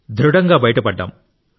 దృఢంగా బయటపడ్డాం